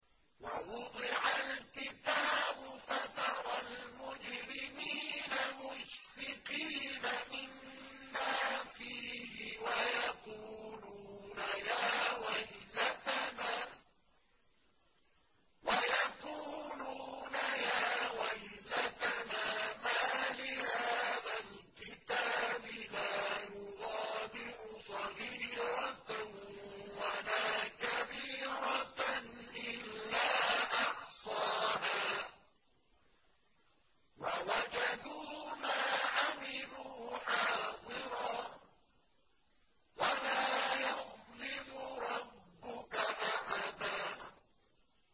وَوُضِعَ الْكِتَابُ فَتَرَى الْمُجْرِمِينَ مُشْفِقِينَ مِمَّا فِيهِ وَيَقُولُونَ يَا وَيْلَتَنَا مَالِ هَٰذَا الْكِتَابِ لَا يُغَادِرُ صَغِيرَةً وَلَا كَبِيرَةً إِلَّا أَحْصَاهَا ۚ وَوَجَدُوا مَا عَمِلُوا حَاضِرًا ۗ وَلَا يَظْلِمُ رَبُّكَ أَحَدًا